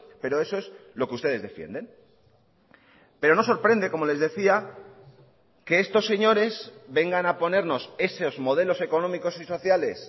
pero eso es lo que ustedes defienden pero no sorprende como les decía que estos señores vengan a ponernos esos modelos económicos y sociales